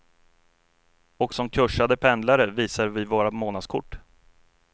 Och som kuschade pendlare visar vi våra månadskort.